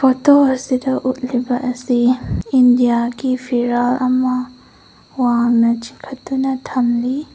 Photo ꯑꯁꯤꯗ ꯎꯠꯂꯤꯕ ꯑꯁꯤ ꯏꯟꯗꯤꯌꯥ ꯒꯤ ꯐꯤꯔꯥꯜ ꯑꯃ ꯋꯥꯡꯅ ꯆꯤꯡꯈꯠꯇꯨꯅ ꯊꯝꯂꯤ꯫